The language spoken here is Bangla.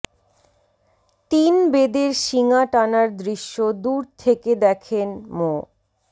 তিন বেদের শিঙা টানার দৃশ্য দূর থেকে দেখেন মো